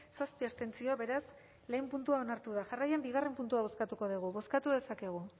zazpi abstentzio beraz lehenengo puntua onartu da jarraian bigarren puntua bozkatuko dugu bozkatu dezakegu